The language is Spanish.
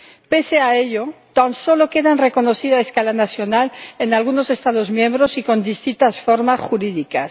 Pese a ello, tan solo quedan reconocidas a escala nacional en algunos Estados miembros y con distintas formas jurídicas.